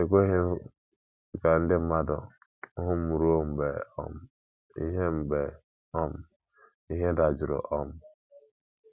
Ekweghị m ka ndị mmadụ hụ m ruo mgbe um ihe mgbe um ihe dajụrụ. um